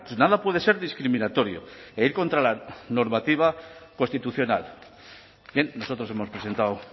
nada puede ser discriminatorio e ir contra la normativa constitucional bien nosotros hemos presentado